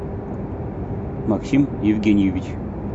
максим евгеньевич